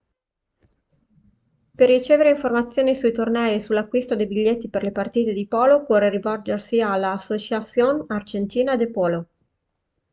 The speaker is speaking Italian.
per ricevere informazioni sui tornei e sull'acquisto dei biglietti per le partite di polo occorre rivolgersi alla asociacion argentina de polo